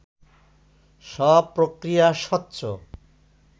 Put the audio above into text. সব প্রক্রিয়া স্বচ্ছ